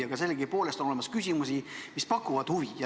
Aga on ka selliseid küsimusi, mis pakuvad huvi.